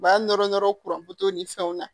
U b'a nɔrɔ nɔrɔ ni fɛnw na